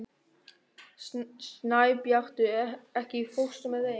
Snæbjartur, ekki fórstu með þeim?